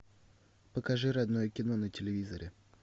покажи родное кино на телевизоре